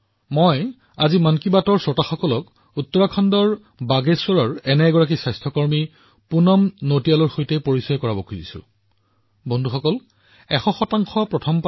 মই উত্তৰাখণ্ডৰ বাগেশ্বৰৰ এনে এজন স্বাস্থ্যসেৱা কৰ্মী পুনম নটিয়ালজীৰ সৈতে মন কী বাতৰ দৰ্শকক পৰিচয় কৰাই দিব বিচাৰো